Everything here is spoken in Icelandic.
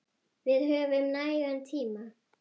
Við höfum nægan tíma.